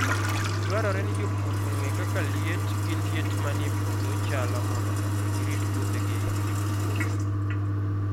Dwarore ni jopur ong'e kaka liet gi liet manie puodho chalo mondo omi girit puothegi kik tuore.